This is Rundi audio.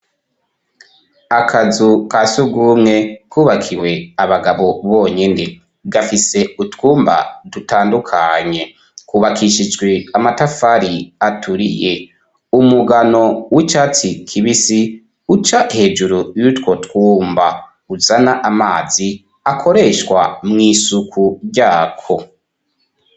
Akazu ka surwumwe kubakiwe abagabo bonyene gafise utwumba dutandukanye kubakishijwe amatafari aturiye umugano w'icatsi kibisi uca hejuru y'utwo twumba uzana amazi akoreshwa mw'isuku ryako.